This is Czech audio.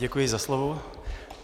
Děkuji za slovo.